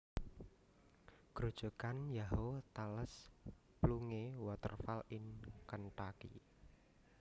Grojogan Yahoo tallest plunge waterfall in Kentucky